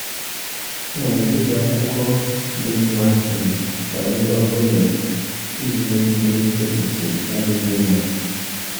Ana m ekesa akụkọ dị mma um banyere ọrụ gọọmentị iji megide echiche na-adịghị mma.